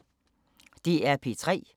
DR P3